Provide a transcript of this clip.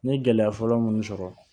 N ye gɛlɛya fɔlɔ munnu sɔrɔ